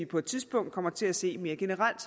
på et tidspunkt kommer til at se mere generelt